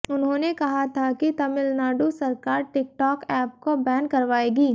उन्होंने कहा था कि तमिलनाडु सरकार टिक टॉक ऐप को बैन करवाएगी